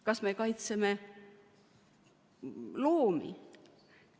Kas me kaitseme loomi?